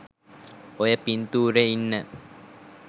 ඔය පින්තූරෙ ඉන්න